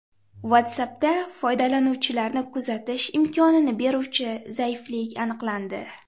WhatsApp’da foydalanuvchilarni kuzatish imkonini beruvchi zaiflik aniqlandi.